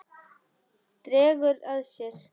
Dregur að sér.